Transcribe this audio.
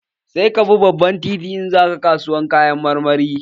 Sai ka bi babban titi in za ka kasuwar Kayan marmari